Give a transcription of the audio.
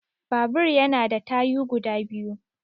Babur ya na da tayu guda biyu